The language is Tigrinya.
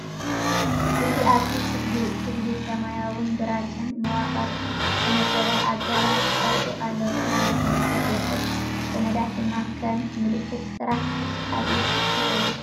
እዚ ኣብቲ ክፍሊ፡ ሰማያውን ግራጭን መዋቕር ብዝተወደበ ኣገባብ ተሰሪዑ ኣሎ፤ ብርሃን ብመስኮት ይውሕዝ፡ ሰነዳት ድማ ከም ምልክት ስራሕ ኣብ ኢድ ይሕዙ።